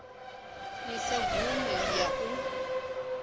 i sa gumi ya u